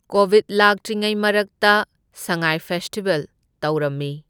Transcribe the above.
Covid ꯂꯥꯛꯇ꯭ꯔꯤꯉꯩ ꯃꯔꯛꯇ Sangai festival ꯇꯧꯔꯝꯃꯤ꯫